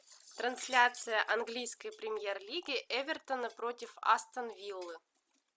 трансляция английской премьер лиги эвертона против астон виллы